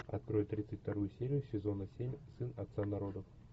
открой тридцать вторую серию сезона семь сын отца народов